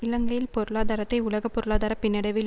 இலங்கையில் பொருளாதாரத்தை உலக பொருளாதார பின்னடைவில்